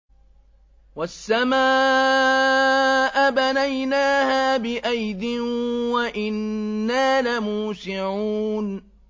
وَالسَّمَاءَ بَنَيْنَاهَا بِأَيْدٍ وَإِنَّا لَمُوسِعُونَ